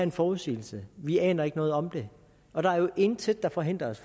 en forudsigelse vi aner ikke noget om det og der er jo intet der forhindrer os